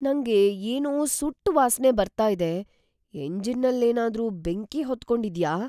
ನಂಗೆ ಏನೋ ಸುಟ್ಟ್ ವಾಸ್ನೆ ಬರ್ತಾ ಇದೆ. ಎಂಜಿನ್ನಲ್ಲೇನಾದ್ರೂ ಬೆಂಕಿ ಹೊತ್ಕೊಂಡಿದ್ಯ?